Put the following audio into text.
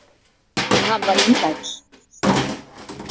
En hann var indæll.